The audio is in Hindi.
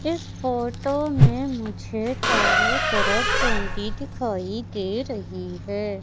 इस फोटो में मुझे चारों तरफ बाउंडी दिखाई दे रही है।